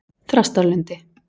Þrastarlundi